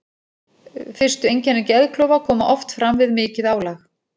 Fyrstu einkenni geðklofa koma oft fram við mikið álag.